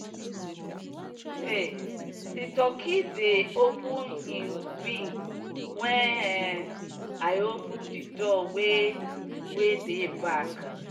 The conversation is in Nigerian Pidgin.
um the turkey dey open him wings when um i open the door wey wey dey back.